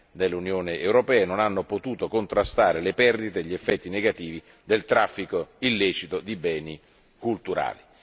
nell'Unione europea e non hanno potuto contrastare le perdite e gli effetti negativi del traffico illecito di beni culturali.